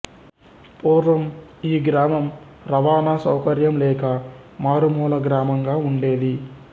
పూర్వం ఈ గ్రామం రవాణా సౌకర్యం లేక మారు మూల గ్రామంగా వుండేది